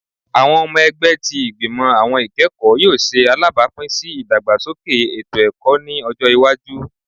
Awọn ọmọ ẹgbẹ ti Igbimọ Awọn Ikẹkọ yoo ṣe alabapin si idagbasoke eto-ẹkọ ni ọjọ iwaju